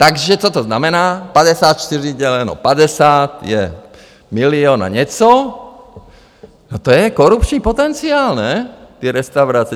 Takže co to znamená - 54 děleno 50 je milion a něco, to je korupční potenciál, ne, ty restaurace?